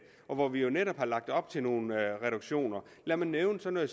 og hvor vi netop har lagt op til nogle reduktioner lad mig nævne sådan